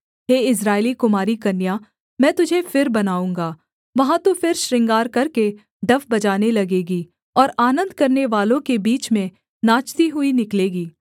हे इस्राएली कुमारी कन्या मैं तुझे फिर बनाऊँगा वहाँ तू फिर श्रृंगार करके डफ बजाने लगेगी और आनन्द करनेवालों के बीच में नाचती हुई निकलेगी